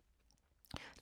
TV 2